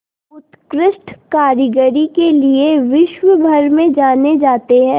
उत्कृष्ट कारीगरी के लिये विश्वभर में जाने जाते हैं